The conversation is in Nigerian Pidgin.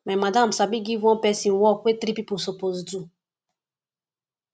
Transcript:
my madam sabi give one pesin work wey three pipo suppose do